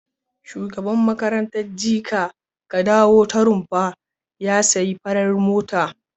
Shugaban makarantar jeka ka dawo ta Rumfa ya sayi fara mota.